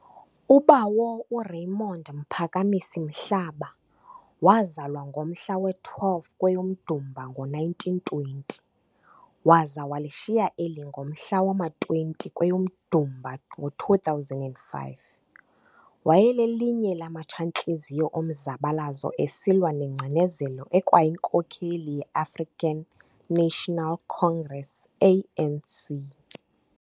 uBawo uRaymond Mphakamisi Mhlaba wazalwa ngomhla we-12 kweyoMdumba ngo1920, waza walishiya eli ngomhla wama-20 kweyoMdumba ngo2005. Wayelelinye lamatsha ntliziyo omzabalazo esilwa nengcinezelo ekwayinkokheli ye African National Congress, ANC.